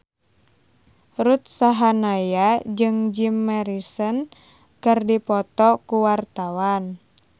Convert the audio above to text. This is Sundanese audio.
Ruth Sahanaya jeung Jim Morrison keur dipoto ku wartawan